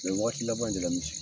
waagati laban in de la misi